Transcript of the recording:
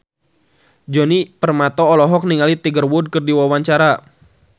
Djoni Permato olohok ningali Tiger Wood keur diwawancara